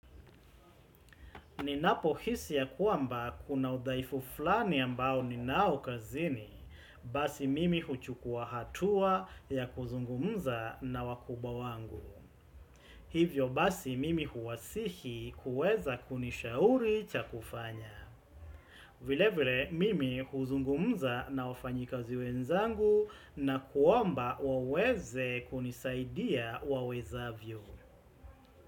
Ninapo hisi ya kuamba kuna udhaifu flani ambao ninao kazini, basi mimi huchukua hatua ya kuzungumza na wakubwa wangu. Hivyo basi mimi huwasihi kuweza kunisha uri cha kufanya. Vile vile mimi huzungumza na wafanyi kazi wenzangu na kuomba waweze kunisaidia waweza vyo.